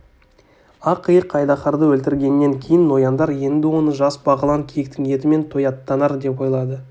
ақ иық айдаһарды өлтіргеннен кейін нояндар енді оны жас бағлан киіктің етімен тояттанар деп ойлады